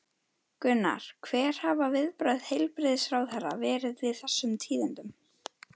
Gunnar, hver hafa viðbrögð heilbrigðisráðherra verið við þessum tíðindum?